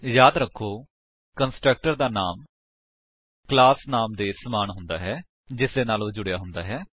ਯਾਦ ਰੱਖੋ ਕੰਸਟਰਕਟਰ ਦਾ ਨਾਮ ਕਲਾਸ ਨਾਮ ਦੇ ਸਮਾਨ ਹੁੰਦਾ ਹੈ ਜਿਸਦੇ ਨਾਲ ਉਹ ਜੁੜਿਆ ਹੁੰਦਾ ਹੈ